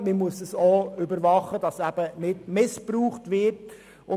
Man muss allfälligen Missbrauch überwachen können.